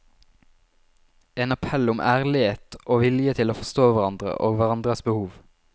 En appell om ærlighet og vilje til å forstå hverandre og hverandres behov.